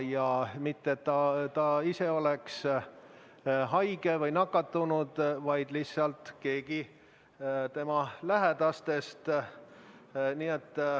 Ja mitte ta ise ei ole haige või nakatunud, vaid lihtsalt keegi tema lähedastest.